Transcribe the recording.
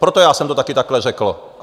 Proto já jsem to taky takhle řekl.